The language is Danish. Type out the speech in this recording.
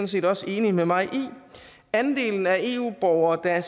set også enige med mig i andelen af eu borgere der